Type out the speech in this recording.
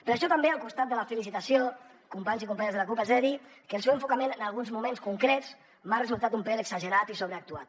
per això també al costat de la felicitació companys i companyes de la cup els he de dir que el seu enfocament en alguns moments concrets m’ha resultat un pèl exagerat i sobreactuat